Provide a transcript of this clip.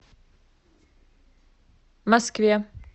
москве